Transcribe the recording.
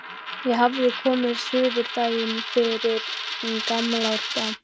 Ég hafði komið suður daginn fyrir gamlársdag.